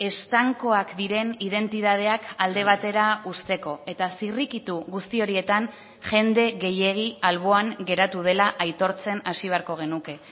estankoak diren identitateak alde batera uzteko eta zirrikitu guzti horietan jende gehiegi alboan geratu dela aitortzen hasi beharko genuke